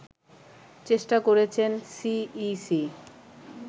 চেষ্টা করেছেন সিইসি